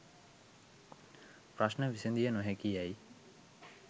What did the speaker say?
ප්‍රශ්න විසඳිය නොහැකි යැයි